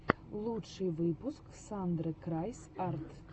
лучший выпуск сандры крайс арт